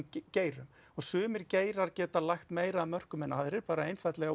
geirum sumir geirar geta lagt meira að mörkum en aðrir bara einfaldlega